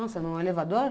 Nossa, num elevador?